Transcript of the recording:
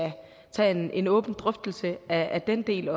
tage en en åben drøftelse af den del